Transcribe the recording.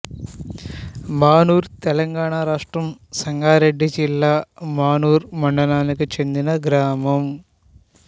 మానూర్ తెలంగాణ రాష్ట్రం సంగారెడ్డి జిల్లా మానూర్ మండలానికి చెందిన గ్రామం